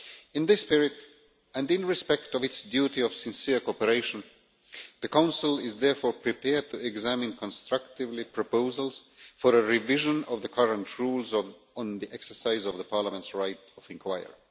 In this spirit, and in respect of its duty of sincere cooperation, the Council is therefore prepared to examine constructively proposals for a revision of the current rules on the exercise of Parliament's right of inquiry.